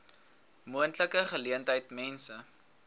moontlike geleentheid mense